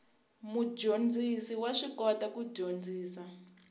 mudyondzisi wa swi kota ku dyondzisa